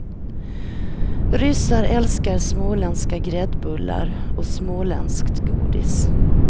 Ryssar älskar småländska gräddbullar och småländskt godis.